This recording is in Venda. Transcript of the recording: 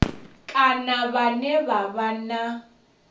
kana vhane vha vha na